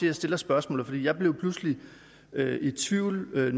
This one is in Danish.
jeg stiller spørgsmålet for jeg blev pludselig i tvivl